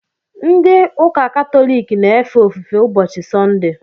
Ndị ụka katọlik na-efe ofufe ụbọchị sọnde